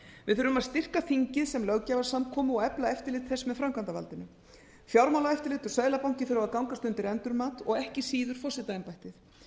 við þurfum að styrkja þingið sem löggjafarsamkomu og efla eftirlit þess með framkvæmdarvaldinu fjármálaeftirlit og seðlabanki þurfa að gangast undir endurmat og ekki síður forsetaembættið